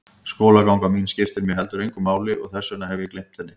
Skólaganga mín skiptir mig heldur engu máli og þess vegna hef ég gleymt henni.